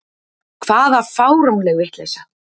Hvaða fáránleg vitleysa!